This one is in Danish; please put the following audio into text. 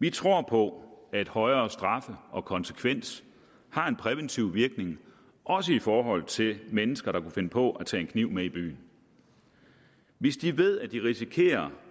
vi tror på at højere straffe og konsekvens har en præventiv virkning også i forhold til mennesker der kunne finde på at tage en kniv med i byen hvis de ved at de risikerer